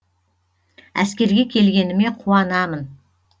әскерге келгеніме қуанамын